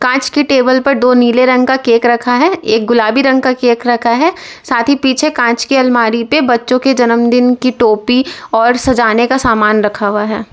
कांच के टेबल पर दो नीले रंग का केक रखा है एक गुलाबी रंग का केक रखा है साथ ही पीछे कांच की अलमारी पर बच्चों के जन्मदिन की टोपी और सजाने का सामान रखा हुआ है।